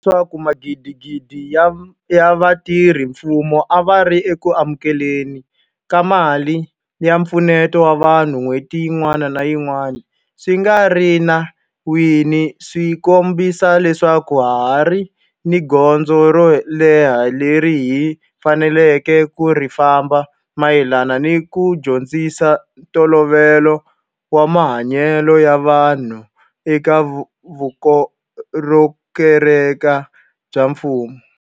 Mente ka leswaku magidigidi ya vatirhela mfumo a va ri eku amukele ni ka mali ya mpfuneto wa vanhu n'hweti yin'wana ni yin'wana swi nga ri enawini swi kombisa leswaku ha ha ri ni gondzo ro leha leri hi faneleke ku ri famba mayelana ni ku dyondzisa ntolovelo wa mahanyelo ya vumunhu eka vukorhokeri bya mfumo.